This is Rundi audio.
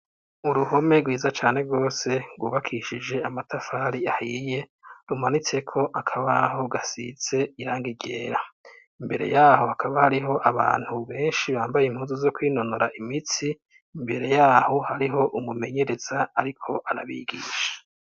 Uruhome gwiza cane gwose gwubakishije amatafari ahiye rumanitseko akabaho gasize irangi ryera imbere yaho jakaba hariho abantu benshi bambaye impuzu zo kwinonora imitsi imbere yaho hariho umumenyereza ariko arabigisha.